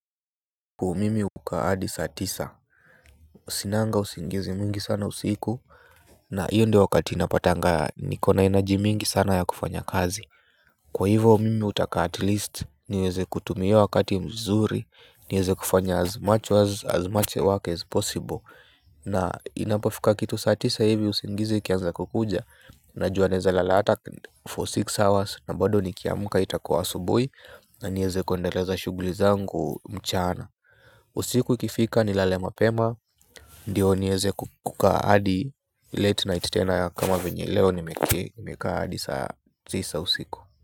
Mimi hukaa hadi saa tisa sinanga usingizi mwingi sana usiku na hiyo ndo wakati napatanga nikona energy mingi sana ya kufanya kazi kwa hivo mimi hutaka at least niweze kutumia hio wakati mzuri niweze kufanya as much as much work as possible na inapafoka kitu saa tisa hivi usingizi ikianza kukuja najua naeza lala hata for six hours na bado nikiamka itakua asubuhi na nieze kuendeleza shuguli zangu mchana. Usiku ikifika nilale mapema. Ndio niweze kukaa hadi late night tena kama venye leo nimekaa hadi saa tisa usiku.